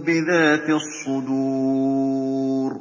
بِذَاتِ الصُّدُورِ